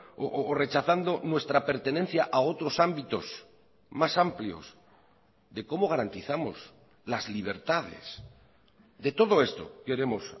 o rechazando nuestra pertenencia a otros ámbitos más amplios de cómo garantizamos las libertades de todo esto queremos